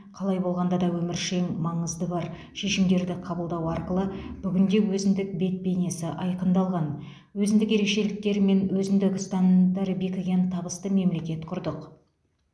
қалай болғанда да өміршең маңызы бар шешімдерді қабылдау арқылы бүгінде өзіндік бет бейнесі айқындалған өзіндік ерекшеліктері мен өзіндік ұстанымдары бекіген табысты мемлекет құрдық